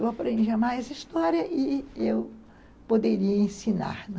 Eu aprendia mais história e eu poderia ensinar, né?